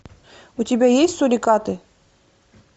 у тебя есть сурикаты